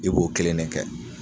I b'o kelen de kɛ